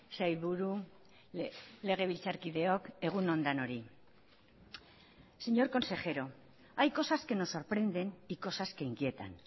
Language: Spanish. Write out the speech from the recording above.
sailburu legebiltzarkideok egun on denoi señor consejero hay cosas que nos sorprenden y cosas que inquietan